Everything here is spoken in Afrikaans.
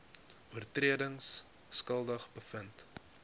oortredings skuldig bevind